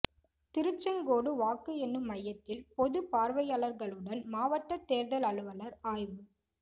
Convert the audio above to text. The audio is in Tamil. திருச்செங்கோடு வாக்கு எண்ணும் மையத்தில் பொது பார்வையாளர்களுடன் மாவட்ட தேர்தல் அலுவலர் ஆய்வு